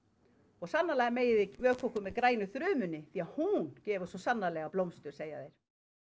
og sannarlega megið þið vökva okkur með grænu þrumunni því hún gefur svo sannarlega blómstra segja þeir